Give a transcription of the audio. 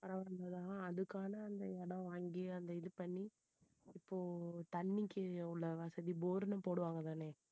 ஆஹ் அதுக்கான அந்த இடம் வாங்கி அந்த இது பண்ணி இப்போ தண்ணிக்கு உள்ள வசதி bore ன்னு போடுவாங்கதானே